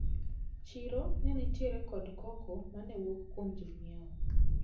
Chiro nenitiere kod koko manewuok kuom jonyiewo.